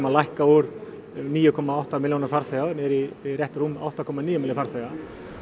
að lækka úr níu komma átta milljónum farþega niður í rétt rúmlega átta komma níu milljónir farþega